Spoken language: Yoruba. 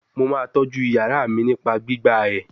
Mo ma toju iyara mi nipa gbigba e